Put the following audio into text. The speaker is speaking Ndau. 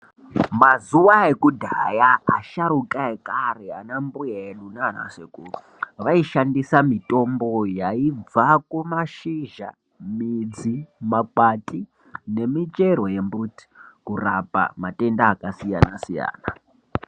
Mazuva ekudhaya asharukwa ekare ana mbuya vedu nana sekuru vaishandisa mitombo yaibva kumashizha midzi makwande nemichero yembuti kurapa matenda akasiyana siyana.